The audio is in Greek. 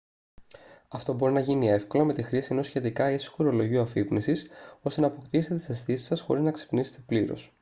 αυτό μπορεί να γίνει εύκολα με τη χρήση ενός σχετικά ήσυχου ρολογιού αφύπνισης ώστε να αποκτήσετε τις αισθήσεις σας χωρίς να ξυπνήσετε πλήρως